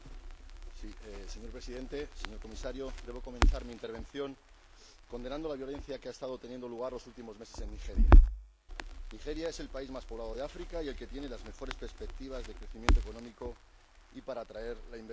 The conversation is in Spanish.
Señor Presidente, señor Comisario, debo comenzar mi intervención condenando la violencia que ha estado teniendo lugar los últimos meses en Nigeria. Nigeria es el país más poblado de África y el que tiene las mejores perspectivas de crecimiento económico y para atraer la inversión exterior.